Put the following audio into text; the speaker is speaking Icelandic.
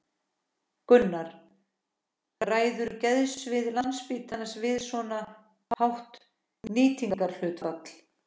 Gunnar: Ræður geðsvið Landspítalans við svo hátt nýtingarhlutfall?